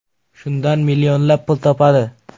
Shundan millionlab pul topadi.